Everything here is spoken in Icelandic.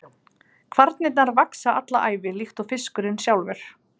Kvarnirnar vaxa alla ævi líkt og fiskurinn sjálfur.